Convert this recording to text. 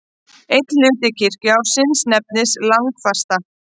Einn hluti kirkjuársins nefnist langafasta.